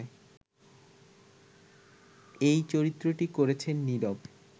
এই চরিত্রটি করছেন নীরব